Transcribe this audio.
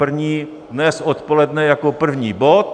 První dnes odpoledne jako první bod.